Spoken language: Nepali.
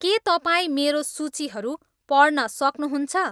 के तपाईँ मेरो सूचीहरू पढ्न सक्नुहुन्छ